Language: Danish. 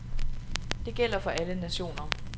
Det gælder for alle nationer.